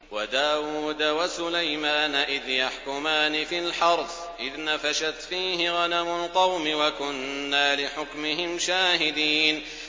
وَدَاوُودَ وَسُلَيْمَانَ إِذْ يَحْكُمَانِ فِي الْحَرْثِ إِذْ نَفَشَتْ فِيهِ غَنَمُ الْقَوْمِ وَكُنَّا لِحُكْمِهِمْ شَاهِدِينَ